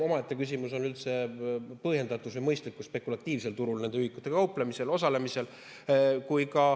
Omaette küsimus on üldse, kui põhjendatud või mõistlik on spekulatiivsel turul nende ühikutega kaubelda, seal osaleda.